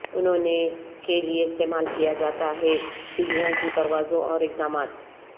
انہوں نے کے لئے استعمال کیا جاتا ہے سیڑھیاں کی پروازوں اور اقدامات